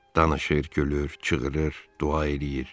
Danışır, gülür, çığırır, dua eləyir.